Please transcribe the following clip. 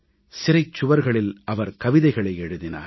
சிறைச் சுவர்களில் அவர் கவிதைகளை எழுதினார்